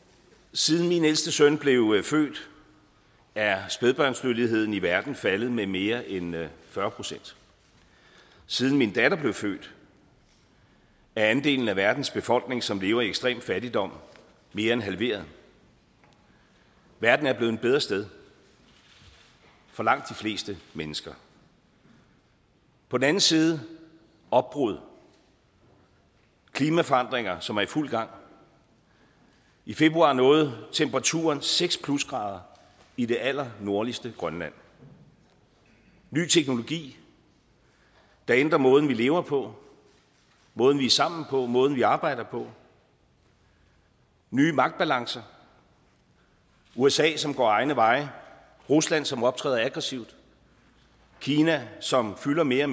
siden min ældste søn blev født er spædbørnsdødeligheden i verden faldet med mere end fyrre procent siden min datter blev født er andelen af verdens befolkning som lever i ekstrem fattigdom mere end halveret verden er blevet et bedre sted for langt de fleste mennesker på den anden side opbrud klimaforandringer som er i fuld gang i februar nåede temperaturen seks plusgrader i det allernordligste grønland ny teknologi der ændrer måden vi lever på måden vi er sammen på måden vi arbejder på nye magtbalancer usa som går egne veje rusland som optræder aggressivt kina som fylder mere